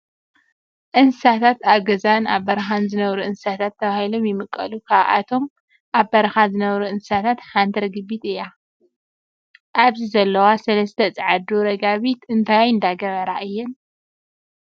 እንስሳታት፡ - ኣብ ገዛን ኣብ በረኻን ዝነብሩ እንስሳታት ተባሂሎም ይምቀሉ፡፡ ካብቶም ኣብ በረኻ ዝነብሩ እንስሳታት ሓንቲ ርግቢት እያ፡፡ ኣብዚ ዘለዋ ሰለስተ ፃዓዱ ረጋቢት እንዳገበራ እየን?